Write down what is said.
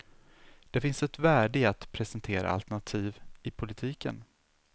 Det finns ett värde i att presentera alternativ i politiken.